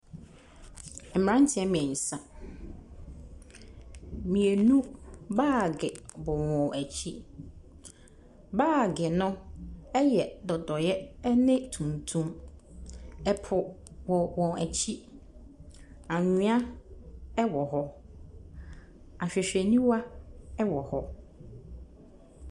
Mmranteɛ mmiensa. Mmienu baage bɔ wɔn akyi. Baage no yɛ dodeɛ ne tuntum. Ɛpo wɔ wɔn akyi. Anwea ɛwɔ hɔ. Ahwehwɛniwa wɔ hɔ.